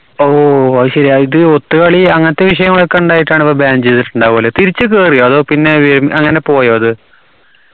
ഓ അത് ശരിയാ ഇത് ഒത്ത് കളി അങ്ങനത്തെ വിഷയങ്ങളൊക്കെ ഇണ്ടായിട്ടാണ് അപ്പോ ban ചെയ്തിട്ടുണ്ടാവല്ലേ തിരിച്ചു കേറിയോ അതോ പിന്നെ ഏർ അങ്ങനെ പോയോ അത്